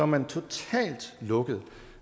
man totalt lukket